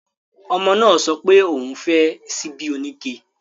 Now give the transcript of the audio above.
Ọmọ náà sọpé òun ò fẹ́ ṣíbí oníke